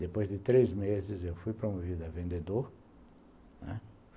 Depois de três meses, eu fui promovido a vendedor, né.